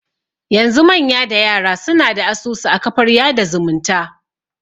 Yanzu manya da yara suna da asusu a kafar yada zumunta